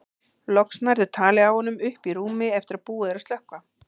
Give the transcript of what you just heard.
Loks nærðu tali af honum uppi í rúmi eftir að búið er að slökkva.